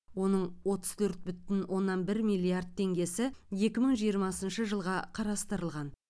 оның отыз төрт бүтін оннан бір миллиард теңгесі екі мың жиырмасыншы жылға қарастырылған